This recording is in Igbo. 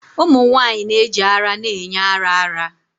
Ụmụ nwanyị na-eji ara na-enye ara ara.